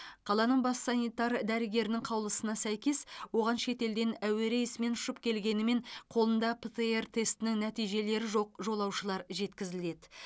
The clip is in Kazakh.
қаланың бас санитар дәрігерінің қаулысына сәйкес оған шетелден әуе рейсімен ұшып келгенімен қолында птр тестінің нәтижелері жоқ жолаушылар жеткізіледі